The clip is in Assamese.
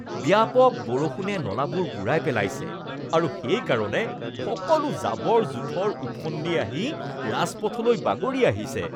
ব্যাপক বৰষুণে নলাবোৰ বুৰাই পেলাইছে আৰু সেইকাৰণে সকলো জাবৰ-জোঁথৰ উফন্দি আহি ৰাজপথলৈ বাগৰি আহিছে।